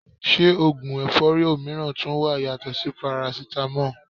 Se ogun efori omiran tun wa yato si Parasitamo?